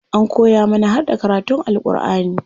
An koya mana harda karatun Alku'ani.